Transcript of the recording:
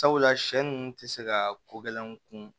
Sabula sɛ ninnu tɛ se ka kogɛlɛnw kun